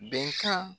Bɛnkan